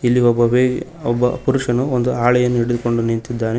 ಇಲ್ಲಿ ಒಬ್ಬ ವೆಯ್ ಒಬ್ಬ ಪುರುಷನು ಒಂದು ಹಾಳೆಯನ್ನು ಹಿಡಿದುಕೊಂಡು ನಿಂತಿದ್ದಾನೆ.